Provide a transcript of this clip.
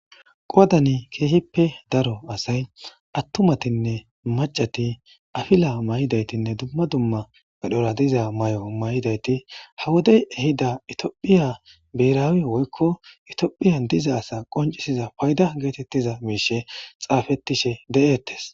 qadani keehippe daro asay attumatinne macati afila may7idaytinne dumma dumma gedhora diza may7o may7idayti hawodey ehida itiophiya biraawi woykko itiophiya diza asa qoncisiza payda geetettiza miishe xaafettishe de7eettes